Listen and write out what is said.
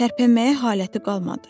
Tərpənməyə haləti qalmadı.